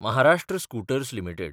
Maharashtra scooters limited